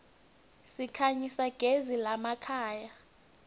sikhanyisa gez iemakhaya